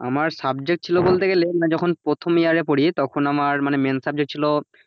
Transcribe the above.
আমার subject ছিল বলতে গেলে কিনা যখন প্রথম year এ পড়ি তখন আমার মানে main subject ছিল,